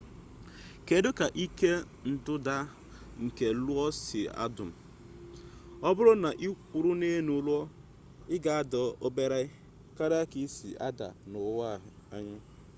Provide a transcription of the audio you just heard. kedụ ka ike ndọda nke lo si adọm ọbụrụ na ịkwụrụ n'elu lo ị ga-ada obere karịa ka ị si ada n'ụwa anyị